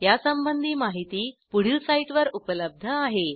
यासंबंधी माहिती पुढील साईटवर उपलब्ध आहे